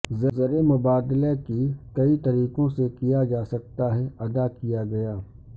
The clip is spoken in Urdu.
زر مبادلہ کی کئی طریقوں سے کیا جا سکتا ہے ادا کیا گیا